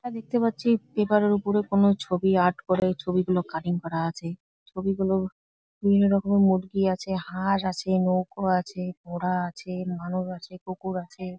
রা দেখতে পাচ্ছি পেপার -এর ওপরে কোন ছবি আর্ট করে ছবিগুলো কাটিং করে করা আছে। ছবিগুলো বিভিন্ন রকম মূর্তি আছে হাঁস আছে নৌকো আছে ঘোড়া আছে মানুষ আছে কুকুর আছে ।